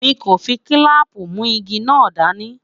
mí kò fí kilampu mu ìgi nà dání